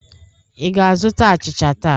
Ị ga-azụta achịcha taa?